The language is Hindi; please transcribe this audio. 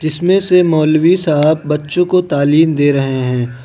इसमें से मौलवी साहब बच्चों को तालीम दे रहे हैं।